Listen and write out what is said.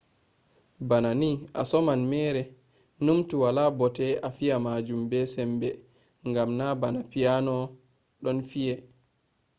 bana ni a soman mere. numtu wala bote a fiya majun be sembe ngam na bana piano ɗon fi'e